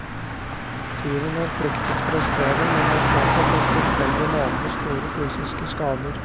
Tyven har flyktet fra stedet, men har påført en tilfeldig nabo store fysiske skader.